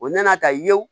O nana ta ye